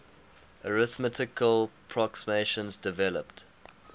arithmetical approximations developed